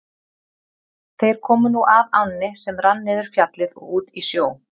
Þeir komu nú að ánni sem rann niður Fjallið og út í sjó.